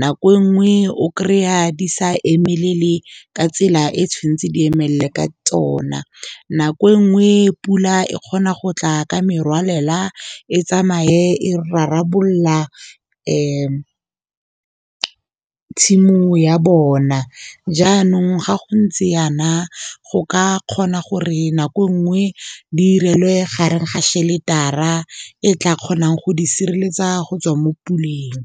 nako e nngwe o kry-a di sa emelele ka tsela e tshwanetse di emelele ka tsona. Nako e nngwe e pula e kgona go tla ka merwalela, e tsamaye e rarabolola tshimo ya bona. Jaanong ga go ntse yana, go ka kgona gore nako nngwe direlwe gareng ga shelter-ara e tla kgonang go di sireletsa go tswa mo puleng.